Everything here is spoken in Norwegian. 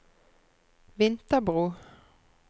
Vinterbro